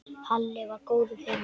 Halli var góður félagi.